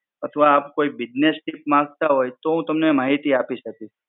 અથવા આપ કોઈ Business Tip માંગતા હોય તો હું તમને માહિતી આપી શકીશ.